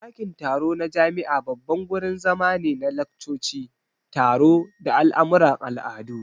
Dakin taro na jami'a babban gurin zama ne na laccoci, taro, da al'amuran al'adu.